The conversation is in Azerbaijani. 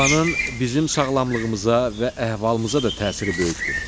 Havanın bizim sağlamlığımıza və əhvalımıza da təsiri böyükdür.